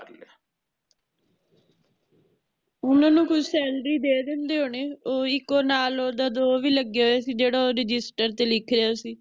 ਓਹਨਾ ਨੂ ਕੋਈ salary ਦੇ ਦਿੰਦੇ ਹੋਣੇ ਓਹ ਇਕੋ ਨਾਲ ਓਹਦਾ ਜੋ ਵੀ ਲਾਗ੍ਯ ਹੋਯਾ ਸੀ ਜੇਹੜਾ ਓਹ register ਚ ਲਿਖਿਆ ਸੀ